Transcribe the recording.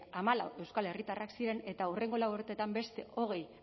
hamalau euskal herritarrak ziren eta hurrengo lau urtetan beste hogei